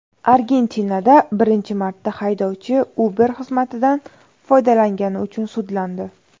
Argentinada birinchi marta haydovchi Uber xizmatidan foydalangani uchun sudlandi.